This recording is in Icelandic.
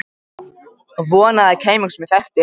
Vonaði að það kæmi einhver sem ég þekkti.